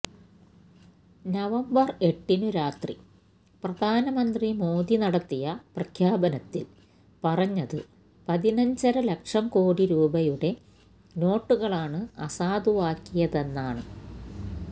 November എട്ടിനുരാത്രി പ്രധാനമന്ത്രി മോദി നടത്തിയ പ്രഖ്യാപനത്തില് പറഞ്ഞത് പതിനഞ്ചര ലക്ഷം കോടി രൂപയുടെ നോട്ടുകളാണ് അസാധുവാക്കിയതെന്നാണ്